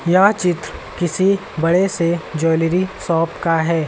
यह चित्र किसी बड़े से ज्वैलरी शॉप का है।